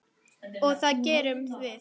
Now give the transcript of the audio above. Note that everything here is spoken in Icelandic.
Og það gerum við.